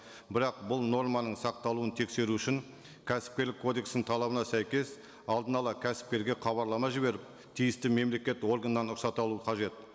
бірақ бұл норманың сақталуын тексеру үшін кәсіпкерлік кодексінің талабына сәйкес алдын ала кәсіпкерге хабарлама жіберіп тиісті мемлекет органнан рұқсат алу қажет